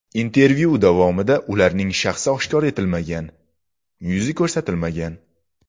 Intervyu davomida ularning shaxsiy oshkor etilmagan, yuzi ko‘rsatilmagan.